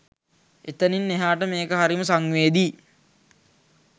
එතනින් එහාට මේක හරිම සංවේදී